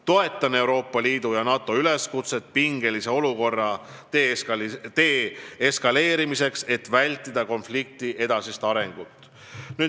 Toetan Euroopa Liidu ja NATO üleskutset pingelise olukorra deeskaleerimiseks, et vältida konflikti edasist arenemist.